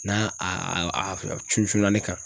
N'a a a a cuncunna ne kan